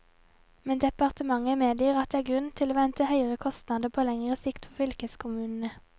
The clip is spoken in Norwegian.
Men departementet medgir at det er grunn til å vente høyere kostnader på lengre sikt for fylkeskommunene.